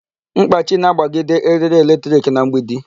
Mkpachi na-agbagide erie electric na mgbidi.